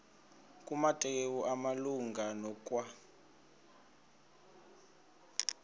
kumateyu malunga nokwa